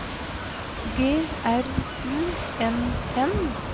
G R U N N